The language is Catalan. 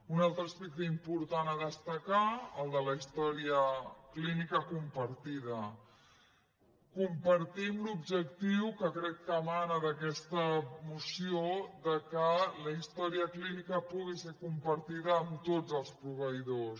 un altre aspecte important a destacar el de la història clínica compartida compartim l’objectiu que crec que emana d’aquesta moció que la història clínica pugui ser compartida amb tots els proveïdors